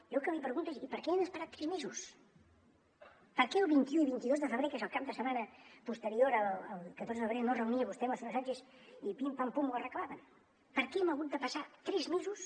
jo el que li pregunto és i per què han esperat tres mesos per què el vint un i vint dos de febrer que és el cap de setmana posterior al catorze de febrer no es reunia vostè amb el senyor sàn chez i pim pam pum ho arreglaven per què hem hagut de passar tres mesos